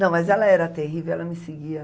Não, mas ela era terrível, ela me seguia.